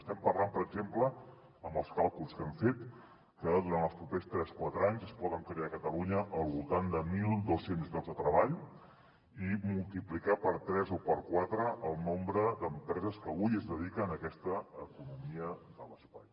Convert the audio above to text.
estem parlant per exemple amb els càlculs que hem fet que durant els propers tres quatre anys es poden crear a catalunya al voltant de mil dos cents llocs de treball i multiplicar per tres o per quatre el nombre d’empreses que avui es dediquen a aquesta economia de l’espai